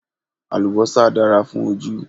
Àlùbọ́sà dára fún ojú